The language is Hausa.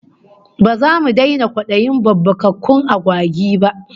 Ba zamu daina kwadayin babbakakkun agwagi ba